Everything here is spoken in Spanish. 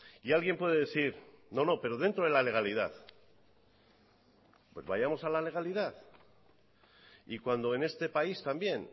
y alguien puede decir no no pero dentro de la legalidad pues vayamos a la legalidad y cuando en este país también